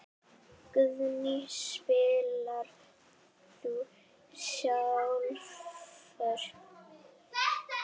Guðný: Spilar þú sjálfur?